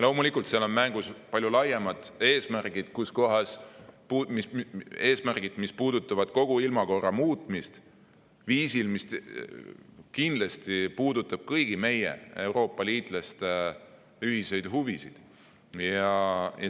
Loomulikult, seal on mängus palju laiemad eesmärgid, mis puudutavad kogu ilmakorra muutmist viisil, mis kindlasti puudutab kõigi meie, Euroopa liitlaste ühiseid huvisid.